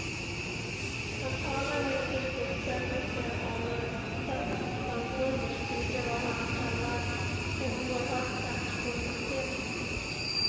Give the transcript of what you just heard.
Han talar med tillfredsställelse om att statssamfundet gjort vad han kallar en oerhört kraftfull markering.